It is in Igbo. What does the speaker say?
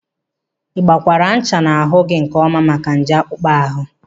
Ịgbakwaara ncha n'ahụ gị nkeọma maka nje akpụkpọ ahụ?